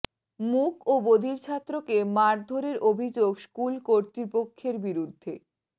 মূক ও বধির ছাত্রকে মারধরের অভিযোগ স্কুল কর্তৃপক্ষের বিরুদ্ধে